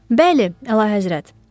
Bəli, Əlahəzrət.